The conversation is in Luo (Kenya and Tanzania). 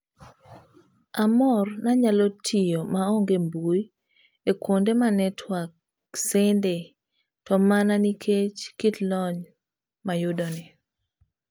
Amor nanyalo tiyo maonge mbui ekuonde ma network shende to mana nikech kit lony mayudoni.